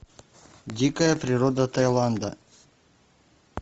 дикая природа тайланда